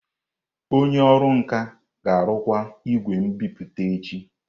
Onye ọrụ nka ga-arụkwa igwe nbipute echi.